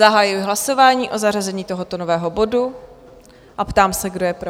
Zahajuji hlasování o zařazení tohoto nového bodu a ptám se, kdo je pro?